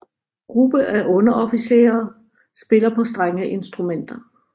Gruppe af underofficerer spiller på strengeinstrumenter